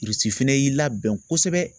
fɛnɛ y'i labɛn kosɛbɛ.